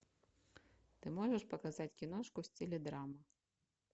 ты можешь показать киношку в стиле драма